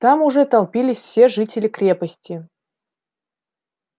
там уже толпились все жители крепости